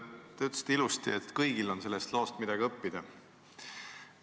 Te ütlesite ilusasti, et kõigil on sellest loost midagi õppida.